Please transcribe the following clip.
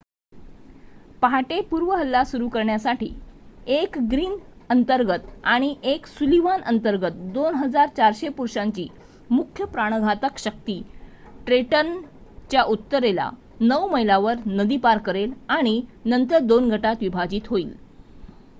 पहाटे पूर्व हल्ला सुरू करण्यासाठी 1 ग्रीन अंतर्गत आणि 1 सुलिव्हान अंतर्गत 2,400 पुरुषांची मुख्य प्राणघातक शक्ती ट्रेंटनच्या उत्तरेला 9 मैलांवर नदी पार करेल आणि नंतर 2 गटात विभाजित होईल